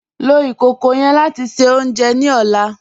Lọ ikókó yẹ́n láti ṣẹ ọ̀unjẹ ní ọ̀là